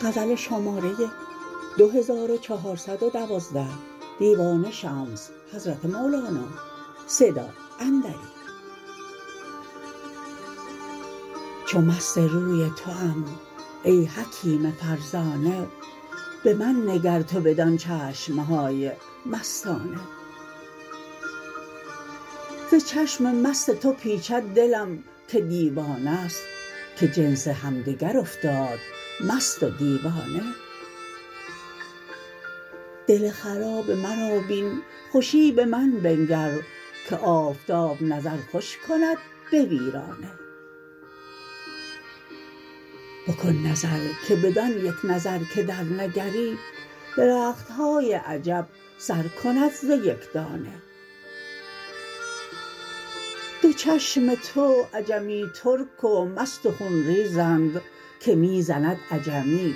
چو مست روی توام ای حکیم فرزانه به من نگر تو بدان چشم های مستانه ز چشم مست تو پیچد دلم که دیوانه است که جنس همدگر افتاد مست و دیوانه دل خراب مرا بین خوشی به من بنگر که آفتاب نظر خوش کند به ویرانه بکن نظر که بدان یک نظر که درنگری درخت های عجب سر کند ز یک دانه دو چشم تو عجمی ترک و مست و خون ریزند که می زند عجمی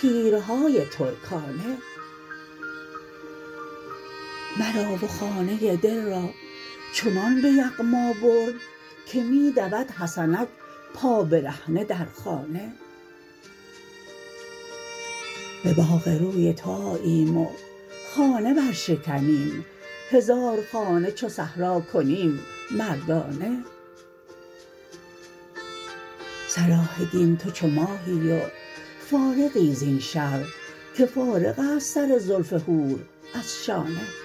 تیرهای ترکانه مرا و خانه دل را چنان به یغما برد که می دود حسنک پابرهنه در خانه به باغ روی تو آییم و خانه برشکنیم هزار خانه چو صحرا کنیم مردانه صلاح دین تو چو ماهی و فارغی زین شرح که فارغ است سر زلف حور از شانه